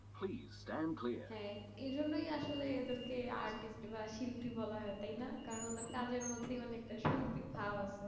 হ্যাঁ এই জন্য আসলে এদেরকে artist বা শিল্পী বলা হয় তাই না কারণ ওদের কাজের মধ্যে অনেকটা সৌভিক ভাব আছে